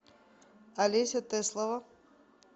олеся теслова